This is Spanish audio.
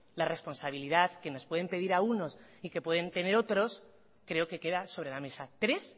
la responsabilidad que nos pueden pedir a unos y que pueden tener otros creo que queda sobre la mesa tres